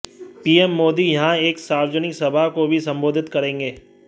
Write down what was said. PM Modi यहां एक सार्वजनिक सभा को भी संबोधित करेंगे